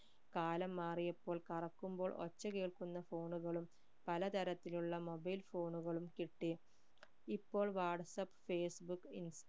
കാലം മാറിയപ്പോൾ കറക്കുമ്പോൾ ഒച്ച കേൾക്കുന്ന phone കളും പലതരത്തിലുള്ള mobile phone കളും കിട്ടി ഇപ്പോൾ വാട്സ്ആപ്പ് ഫേസ്ബുക്